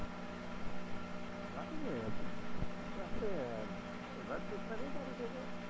રાખી લ્યો, એ તો આપણે વાત કરી